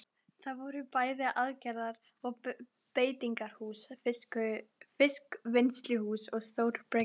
Það voru bæði aðgerðar- og beitingarhús, fiskvinnsluhús og stór bryggja.